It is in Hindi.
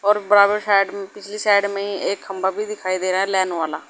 और बराबर साइड में पिछली साइड में एक खंबा भी दिखाई दे रहा लाइन वाला।